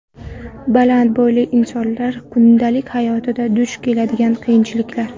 Baland bo‘yli insonlar kundalik hayotda duch keladigan qiyinchiliklar .